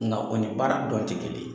Ŋa o ni baara dɔn tɛ kelen ye.